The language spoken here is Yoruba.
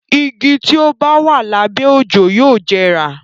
Igi tí ó bá wà lábẹ́ òjò yóò jẹrà.